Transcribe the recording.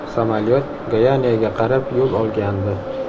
Samolyot Goyaniyaga qarab yo‘l olgandi.